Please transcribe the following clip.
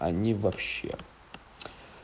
они вообще